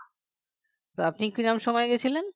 আপনি কিরকম সময়ে গিয়েছিলেন